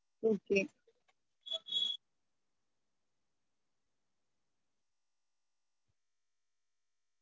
Okay